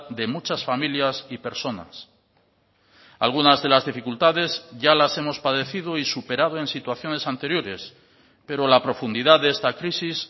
de muchas familias y personas algunas de las dificultades ya las hemos padecido y superado en situaciones anteriores pero la profundidad de esta crisis